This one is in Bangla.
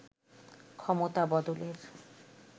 ক্ষমতা বদলের